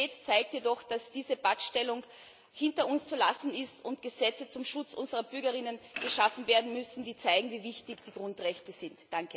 Die Realität zeigt jedoch, dass diese Pattstellung hinter uns zu lassen ist und Gesetze zum Schutz unserer Bürgerinnen und Bürger geschaffen werden müssen, die zeigen, wie wichtig die Grundrechte sind.